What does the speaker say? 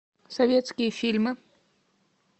советские фильмы